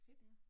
Ja